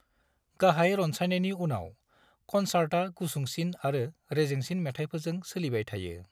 गाहाय रनसायनायनि उनाव, कनसार्टा गुसुंसिन आरो रेजेंसिन मेथायफोरजों सोलिबाय थायो।